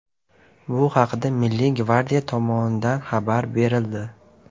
Bu haqda Milliy gvardiya tomonidan xabar berildi .